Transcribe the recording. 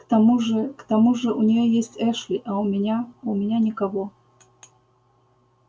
к тому же к тому же у нее есть эшли а у меня у меня никого